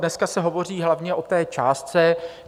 Dneska se hovoří hlavně o té částce.